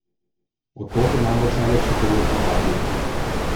Od tod je namreč najlepši pogled v atrij.